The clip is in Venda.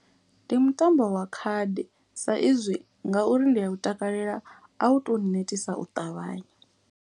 Ndi mutambo wa khadi sa izwi ngauri ndi a u takalela a u to nnetisa u ṱavhanya.